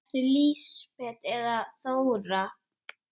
Ertu Lísibet eða Þóra?